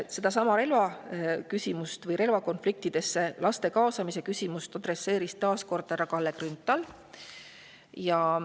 Sedasama laste relvakonfliktidesse kaasamise küsimust adresseeris taas kord härra Kalle Grünthal.